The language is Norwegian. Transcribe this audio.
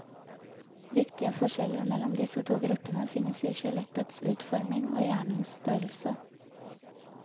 Viktige forskjeller mellom disse to gruppene finnes i skjelettets utforming og hjernens størrelse.